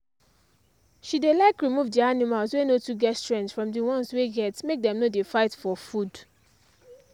she dey like remove the animals wey no too get strength from d ones wey get make dem no dey fight for food.